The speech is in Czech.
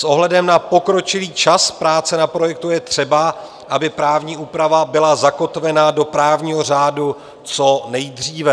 S ohledem na pokročilý čas práce na projektu je třeba, aby právní úprava byla zakotvena do právního řádu co nejdříve.